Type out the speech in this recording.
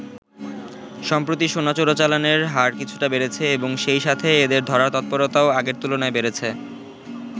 সম্প্রতি সোনা চোরাচালানের হার কিছুটা বেড়েছে এবং সেই সাথে এদের ধরার তৎপরতাও আগের তুলনায় বেড়েছে।